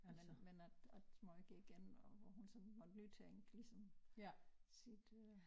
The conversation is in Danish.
Men men at at måj gik igen og hvor hun sådan måtte nytænke ligesom sit øh